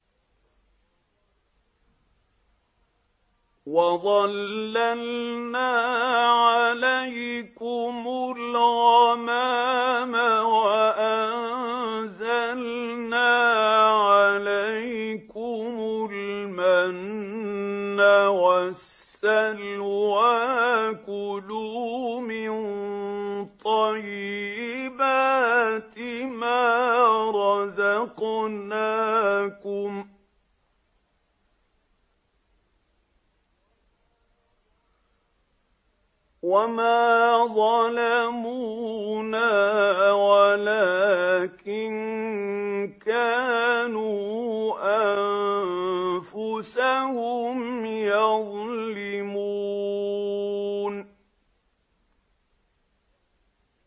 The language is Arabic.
وَظَلَّلْنَا عَلَيْكُمُ الْغَمَامَ وَأَنزَلْنَا عَلَيْكُمُ الْمَنَّ وَالسَّلْوَىٰ ۖ كُلُوا مِن طَيِّبَاتِ مَا رَزَقْنَاكُمْ ۖ وَمَا ظَلَمُونَا وَلَٰكِن كَانُوا أَنفُسَهُمْ يَظْلِمُونَ